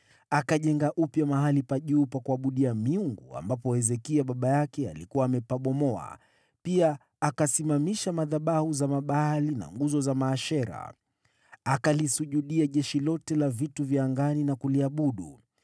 Akajenga upya mahali pa juu pa kuabudia miungu ambapo Hezekia baba yake, alikuwa amepabomoa, pia akasimamisha madhabahu za Mabaali na nguzo za Maashera. Akalisujudia jeshi lote la angani na kuliabudu.